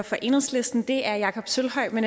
for enhedslisten det er jakob sølvhøj men